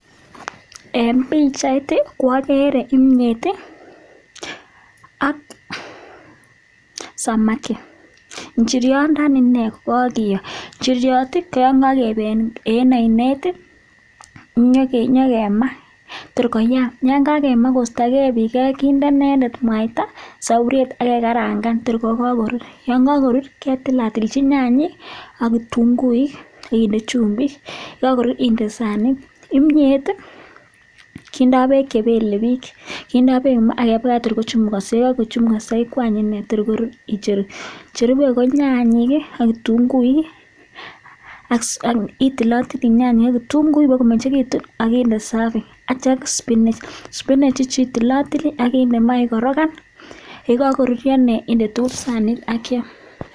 en pichaiit agere kimnyeet ak (samaki) njiryandani nii kokakiyoo ako magat kindee inendet mwaita kimnyeet kindai pek chepelepich cherube konyanyeek ak kitunguuik ak spinach kokakoruryoo inyee inde sanisheek ak keam